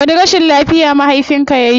Wani rashin lafiya mahafinka yayi?